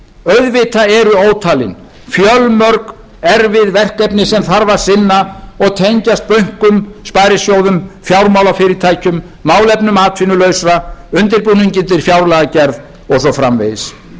auðvitað eru ótalin fjölmörg erfið verkefni sem þarf að sinna og tengjast bönkum sparisjóðum fjármálafyrirtækjum málefnum atvinnulausra undirbúningi undir fjárlagagerð og svo framvegis